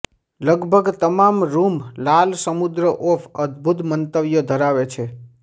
લગભગ તમામ રૂમ લાલ સમુદ્ર ઓફ અદભૂત મંતવ્યો ધરાવે છે